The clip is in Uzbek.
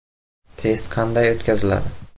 Test qanday o‘tkaziladi?